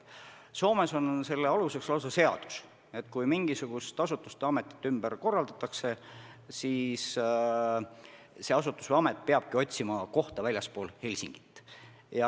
Soomes on lausa seadus, et kui mingisuguse asutuse või ameti tööd ümber korraldatakse, siis see asutus või amet peab otsima asukohta väljaspool Helsingit.